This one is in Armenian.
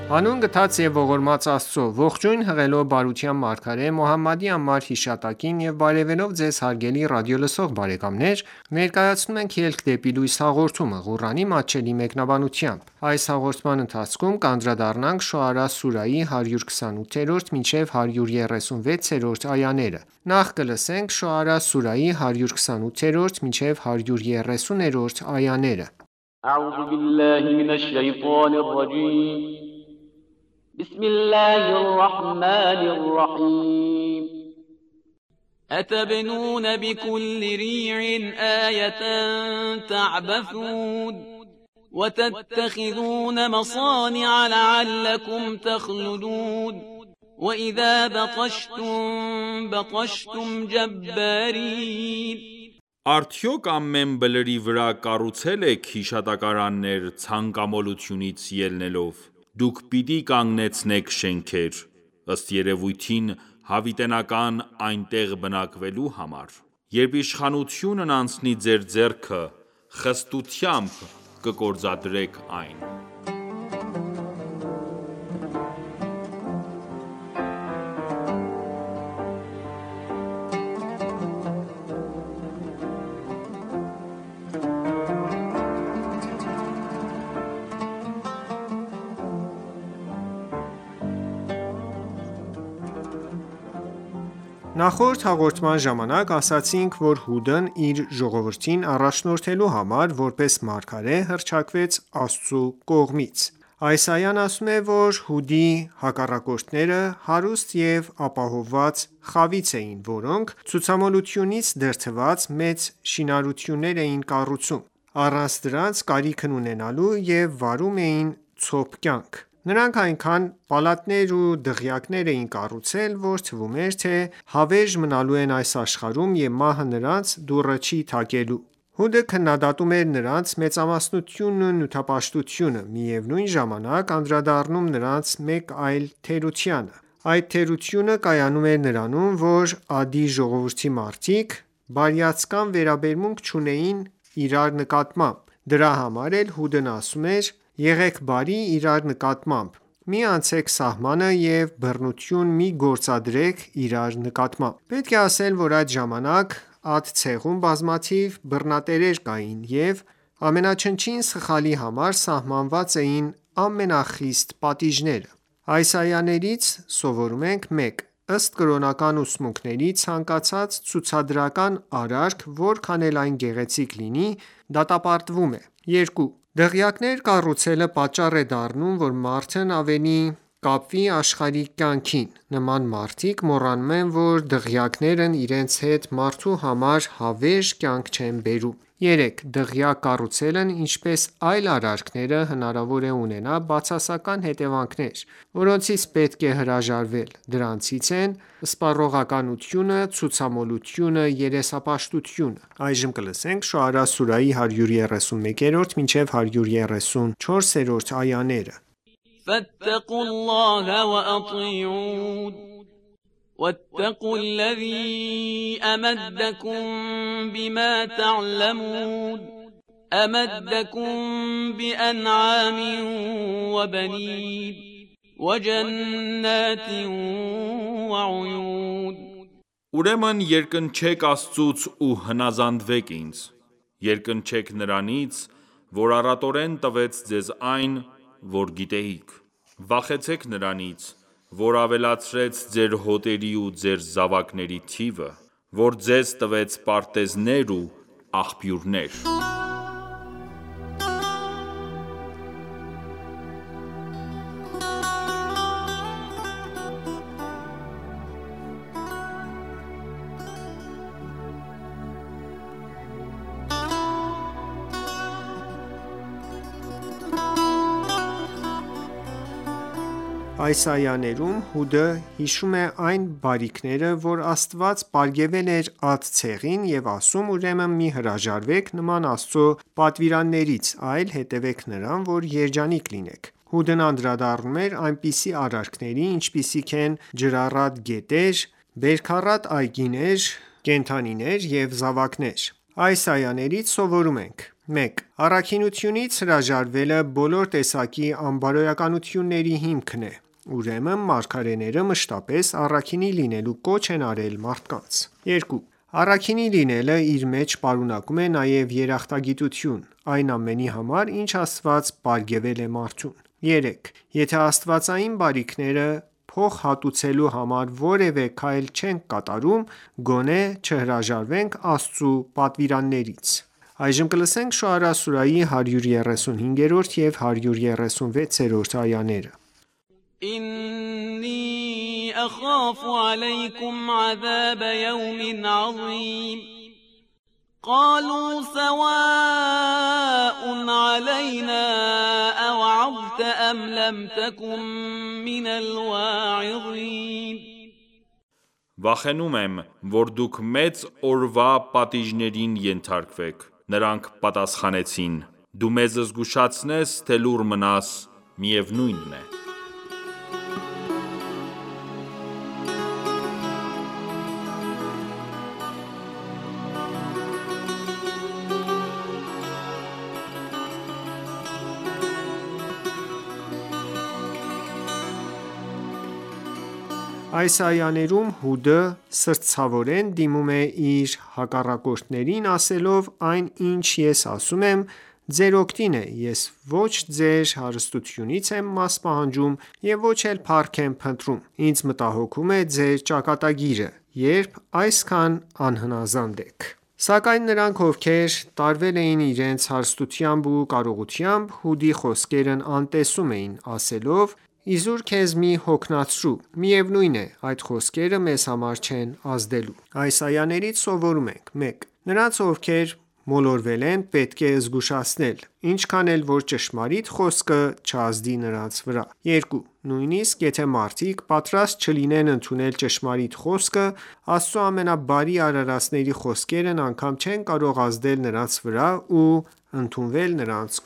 Հանուն գթած և ողորմած Աստծո:Ողջույն հղելով բարության մարգարե Մոհամմադի անմար հիշատակին եւ բարեւելով Ձեզ հարգելի ռադիոլսող բարեկամներ ներկայացնում ենք «Ելք դեպի լույս» հաղորդումը, Ղուրանի մատչելի մեկնաբանությամբ: Շոարա սուրահի 128-130-րդ այաներ أَتَبْنُونَ بِکُلِّ رِیعٍ آیَةً تَعْبَثُونَ وَتَتَّخِذُونَ مَصَانِعَ لَعَلَّکُمْ تَخْلُدُونَ وَإِذَا بَطَشْتُم بَطَشْتُمْ جَبَّارِینَ Արդյոք ամեն բլրի վրա կառուցելու՞եք հիշատակարաններ ցանկամոլությունից ելնելով: Դուք պիտի կանգնեցնե՞ք շենքեր, ըստ երևույթին հավիտենական այնտեղ բնակվելու համար: Երբ իշխանությունն անցնի ձեր ձեռքը, խստությամբ կգործադրեք այն: Նախորդ հաղորդման ժամանակ ասացինք, որ Հուդն իր ժողովրդին առաջնորդելու համար, որպես մարգարե հռչակվեց Աստծու կողմից: Այս այան ասում է, որ Հուդի հակառակորները հարուստ և ապահովված խավից էին, որոնք ցուցամոլությունից դրդված, մեծ շինություններ էին կառուցում, առանց դրանց կարիքն ունենալու և վարում էին ցոփ կյանք: Նրանք այնքան պալատներ ու դղյակներ էին կառուցել, որ թվում էր, թե հավերժ մնալու են այս աշխարհում և մահը նրանց դուռը չի թակելու: Հուդը քննդատում էր նրանց մեծամտությունն ու նյութապաշտությունը, միևնույն ժամանակ անդրադառնալով նրանց մեկ այլ թերությանը: Այդ թերությունը կայանում էր նրանում, որ Ադի ժողովուրդի մարդիկ բարյացակամ վերաբերմունք չունեին իրար նկատմամբ: Դրա համար էլ Հուդն ասում էր, եղեք բարի իրար նկատմամբ, մի անցեք սահմանը և բռնություն մի գործարեք իրար նկատմամբ: Պետք է ասել, որ այդ ժամանակ, Ադ ցեղում բազմաթիվ բռնատերեր կային, և ամենաչնչին սխալի համար սահմանված էին ամենախիստ պատիժները: Այս այաներից սովորում ենք. 1. Ըստ կրոնական ուսմունքների, ցանկացած ցուցադրական արարք, որքան էլ այն գեղեցիկ լինի, դատապարտվում է: 2. Դղյակներ կառուցելը պատճառ է դառնում, որ մարդն ավելի կապվի աշխարհիկ կյանքին: Նման մարդիկ մոռանում են, որ դղյակներն իրենց հետ մարդու համար հավերժ կյանք չեն բերում: 3. Դղյակ կառուցելն ինչպես այլ արարքները, հնարավոր է ունենա բացասական հետևանքներ, որոնցից պետք է հրաժարվել: Դրանցից են սպառողականությունը, ցուցամոլությունը, երեսպաշտությունը: Շոարա սուրահի 131-134-րդ այաներ فَاتَّقُوا اللَّهَ وَأَطِیعُونِ وَاتَّقُوا الَّذِی أَمَدَّکُم بِمَا تَعْلَمُونَ أَمَدَّکُم بِأَنْعَامٍ وَبَنِینَ Ուրեմն երկնչեք Աստծուց ու հնազանդվեք ինձ: Երկնչեք Նրանից, որ առատորեն տվեց ձեզ այն, որ գիտեիք: Վախեցեք Նրանից, որ ավելացրեց ձեր հոտերի ու ձեր զավակների թիվը: Որ ձեզ տվեց պարտեզներ ու աղբյուրներ: Այս այաներում, Հուդը հաշվում է այն բարիքները, որ Աստված պարգևել էր Ադ ցեղին, և ասում, ուրեմն մի հրաժարվեք նման Աստծու պատվիրաններից, այլ հետևեք Նրան, որ երջանիկ լինեք: Հուդն անդրադառնում էր այնպիսի արարքների, ինչպիսիք են ջրառատ գետեր, բերքառատ այգիներ, չորքոտանիներ և զավակներ: Այս այաներից սովորում ենք. 1. Առաքինությունից հրաժարվելը բոլոր տեսակի անբարոյականությունների հիմքն է: Ուրեմն մարգարեները մշտապես առաքինի լինելու կոչ են արել մարդկանց: 2. Առաքինի լինելը իր մեջ պարունակում է նաև երախտագիտություն այն ամենի համար, ինչ Աստված պարգևել է մարդուն: 3. Եթե աստվածային բարիքները փոխհատուցելու համար որևէ քայլ չենք կատարում, գոնե չհրաժարվենք Աստծու պատվիրաններից: Շոարա սուրայի 135 և 136-րդ այաներ إِنِّی أَخَافُ عَلَیْکُمْ عَذَابَ یَوْمٍ عَظِیمٍ قَالُوا سَوَاء عَلَیْنَا أَوَعَظْتَ أَمْ لَمْ تَکُن مِّنَ الْوَاعِظِینَ Վախենում եմ, որ դուք մեծ օրվա պատիժներին ենթարկվեք: Նրանք պատասխանեցին.«Դու մեզ զգուշացնես թե լուռ մնաս, միևնույնն է»: Այս այաներում, Հուդը սրտացավորեն դիմում է իր հակառակորդներին, ասելով,- Այն ինչ ես ասում եմ, ձեր օգտին է: Ես ոչ ձեր հարստությունից եմ մաս պահանջում և ոչ էլ փառք եմ փնտրում: Ինձ մտահոգում է ձեր ճակատագիրը, երբ այսքան անհնազանդ եք: Սակայն նրանք, ովքեր տարվել էին իրենց հարստությամբ ու կարողությամբ, Հուդի խոսքերն անտեսում էին, ասելով,- Իզուր քեզ մի հոգնեցրու: Միևնույն է, այդ խոսքերը մեզ վրա չեն ազդելու: Այս այաներից սովորում ենք 1. Նրանց, ովքեր մոլորվել են, պետք է զգուշացնել, ինչքան էլ որ ճշմարիտ խոսքը չազդի նրանց վրա: 2. Նույնիսկ եթե մարդիկ պատրաստ չլինեն ընդունել ճշմարիտ խոսքը, Աստծու ամենաբարի արարածների խոսքերն անգամ չեն կարող ազդել նրանց վրա ու ընդունվել նրանց